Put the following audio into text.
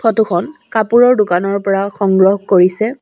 Photo খন কাপোৰৰ দোকানৰ পৰা সংগ্ৰহ কৰিছে।